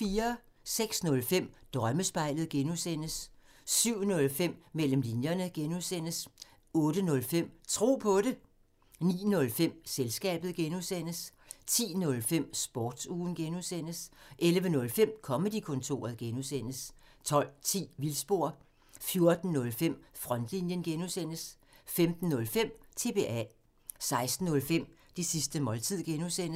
06:05: Drømmespejlet (G) 07:05: Mellem linjerne (G) 08:05: Tro på det 09:05: Selskabet (G) 10:05: Sportsugen (G) 11:05: Comedy-kontoret (G) 12:10: Vildspor 14:05: Frontlinjen (G) 15:05: TBA 16:05: Det sidste måltid (G)